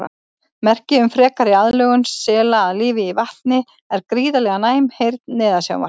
Merki um frekari aðlögun sela að lífi í vatni er gríðarlega næm heyrn neðansjávar.